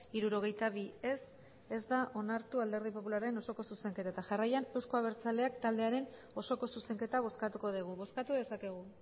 hirurogeita bi ez ez da onartu alderdi popularraren osoko zuzenketa eta jarraian euzko abertzaleak taldearen osoko zuzenketa bozkatuko dugu bozkatu dezakegu